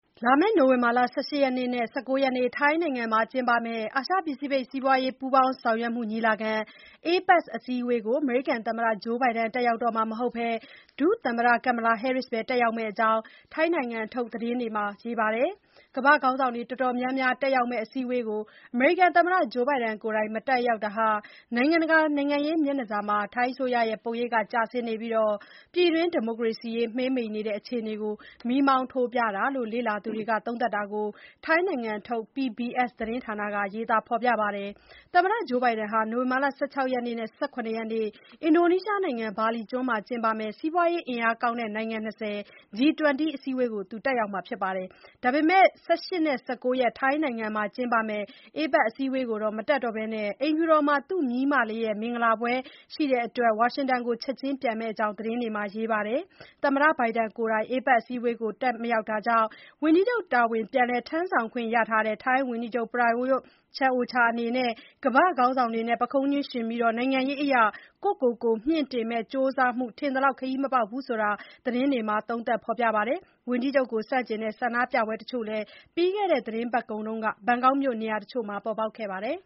လာမယ့် နိုဝင်ဘာ ၁၈ နဲ့ ၁၉ ရက် ထိုင်းနိုင်ငံမှာကျင်းပမယ့် အာရှ ပစိဖိတ် စီးပွားရေး ပူးပေါင်းဆောင်ရွက်မှုညီလာခံ APEC ထိပ်သီးအစည်းအဝေးကို အမေရိကန် သမ္မတ Joe Biden တက်ရောက်တော့မှာမဟုတ်ဘဲ ဒုသမ္မတ Kamala Harris ပဲ တက်ရောက်မယ့်အကြောင်း ထိုင်းနိုင်ငံထုတ်သတင်းတွေမှာ ရေးပါတယ်။ ကမ္ဘာ့ခေါင်းဆောင်တွေ တော်တော်များများတက်ရောက်မယ့် အစည်းအဝေးကို အမေရိကန်သမ္မတ Joe Biden ကိုယ်တိုင်မတက်ရောက်တာဟာ နိုင်ငံတကာ နိုင်ငံရေး မျက်နှာစာမှာ ထိုင်းအစိုးရရဲ့ ပုံရိပ်ကျဆင်းနေပြီး ပြည်တွင်း ဒီမိုကရေစီရေး မှေးမှိန်နေတဲ့ အခြေအနေကို မီးမောင်းထိုးပြတာလို့ လေ့လာသူတွေ သုံးသပ် တာကို ထိုင်းနိုင်ငံထုတ် PBS သတင်းဌာနက ရေးပါတယ်။ သမ္မတ Joe Biden ဟာ နိုဝင်ဘာ ၁၆ ရက်နဲ့ ၁၇ ရက်နေ့ အင်ဒိုနီးရှားနိုင်ငံ ဘာလီကျွန်းမှကျင်းပမယ့် စီးပွားရေး အင်အားကောင်းတဲ့ နိုင်ငံ ၂၀ အစည်းအဝေးကိုတော့ တက်ရောက်မှာပါ။ ဒါပေမယ့် နောက် ၁၈ ရက်နဲ့ ၁၉ ရက် ထိုင်းနိုင်ငံမှာ ကျင်းပမယ့် APEC အစည်းအဝေးကို မတက်တော့ဘဲ အိမ်ဖြူတော်မှာ သူ့မြေးမလေးရဲ့ မင်္ဂလာပွဲဧည့်ခံပွဲရှိတဲ့အတွက် ဝါရှင်တန်ကို ချက်ခြင်းပြန်မယ့်အကြောင်း သတင်းတွေမှာ ရေးပါတယ်။ သမ္မတ Biden ကိုယ်တိုင် APEC အစည်းအဝေးကို မတက်တာကြောင့် ဝန်ကြီးချုပ် တာဝန်ပြန်လည် ထမ်းဆောင်ခွင့်ရထားတဲ့ ထိုင်းဝန်ကြီးချုပ် Prayut Chan-o-cha အနေနဲ့ ကမ္ဘာ့ ခေါင်းဆောင်တွေနဲ့ ပုခုံးချင်းယှဉ်ပြီး နိုင်ငံရေးအရ ကိုယ်ကိုကိုယ် မြှင့်တင်မယ့် ကြိုးစားမှု ထင်သလောက် ခရီးမပေါက်ဘူးဆိုတာ သတင်းမှာ သုံးသပ် ဖေါ်ပြပါတယ်။ ဝန်ကြီးချုပ် Prayut Chan-o-cha ကို ဆန့်ကျင်တဲ့ ဆန္ဒပြပွဲတချို့လည်း ပြီးခဲ့တဲ့ သတင်းပတ်ကုန်က ဘန်ကောက်မြို့နေရာတချို့မှာ ပေါ်ပေါက်ခဲ့ပါတယ်